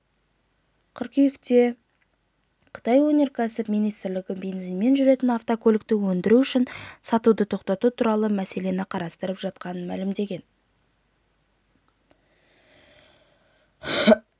қыркүйекте қытай өнеркәсіп министрлігі бензинмен жүретін автокөлікті өндіру және сатуды тоқтату туралы мәселені қарастырып жатқанын мәлімдеген